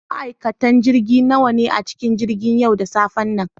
Ma'aikatan jirgi nawa ne a cikin jirgin yau da safen nan?